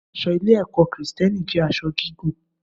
Aṣọ ilé-ẹ̀kọ́ Kristẹni jẹ́ aṣọ gígùn.